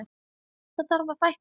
Það þarf að fækka þeim.